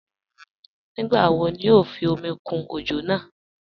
Nígbà wò ní o fí omi kún ojò náà?